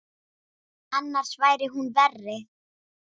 Annars væri hún verri.